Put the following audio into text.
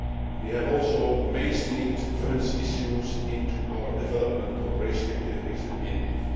We have also mainstreamed women's issues into our development cooperation activities with India.